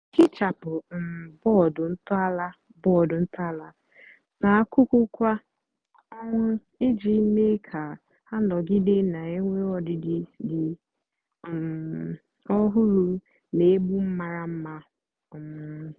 hichapụ um bọdụ ntọala bọdụ ntọala nà àkuku kwá ọnwá íjì mee kà hà nọgide nà-ènwé ọdịdị dị um ọhụrụ nà-ègbu maramara. um